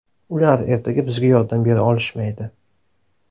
Ular ertaga bizga yordam bera olishmaydi.